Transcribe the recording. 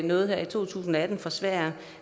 noget her i to tusind og atten fra sverige